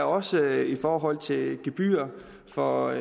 også i forhold til gebyr for